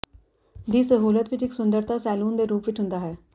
ਦੀ ਸਹੂਲਤ ਵਿੱਚ ਇੱਕ ਸੁੰਦਰਤਾ ਸੈਲੂਨ ਦੇ ਰੂਪ ਵਿੱਚ ਹੁੰਦਾ ਹੈ